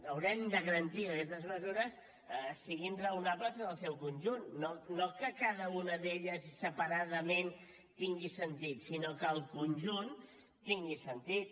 haurem de garantir que aquestes mesures siguin raonables en el seu conjunt no que cada una d’elles separadament tingui sentit sinó que el conjunt tingui sentit